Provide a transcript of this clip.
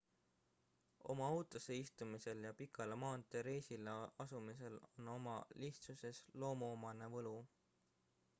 oma autosse istumisel ja pikale maanteereisile asumisel on oma lihtsuses loomuomane võlu